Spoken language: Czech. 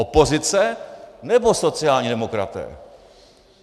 Opozice, nebo sociální demokraté?